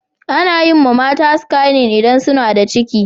Anayiwa mata skanin idan suna da ciki